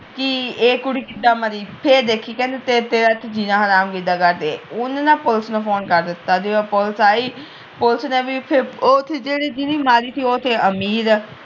ਕਿ ਇਹ ਕੁੜੀ ਕਿਦਾ ਮਰੀ ਫਿਰ ਦੇਖੀ ਕਹਿੰਦੇ ਤੇਰਾ ਇਥੇ ਜਿਨਾ ਹਰਾਮ ਕਿਦਾ ਕਰਦੇ ਉਨੇ ਨਾ ਪੁਲਿਸ ਨੂੰ ਫੋਨ ਕਰ ਦਿੱਤਾ ਤੇ ਜਦੋ ਪੁਲਿਸ ਆਈ ਪੁਲਿਸ ਨੇ ਵੀ ਫਿਰ ਜਿੰਨੇ ਮਾਰੀ ਸੀ ਉਹ ਤੇ ਅਮੀਰ